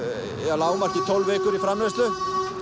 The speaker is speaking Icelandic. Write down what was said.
að lágmarki tólf vikur í framleiðslu